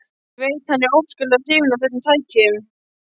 Ég veit að hann er óskaplega hrifinn af þessum tækjum.